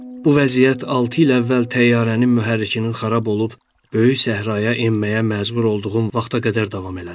Bu vəziyyət altı il əvvəl təyyarənin mühərrikinin xarab olub böyük səhraya enməyə məcbur olduğum vaxta qədər davam elədi.